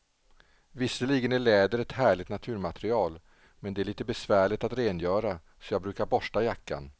Visserligen är läder ett härligt naturmaterial, men det är lite besvärligt att rengöra, så jag brukar borsta jackan.